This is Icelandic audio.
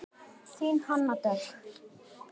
Þín Hanna Dögg.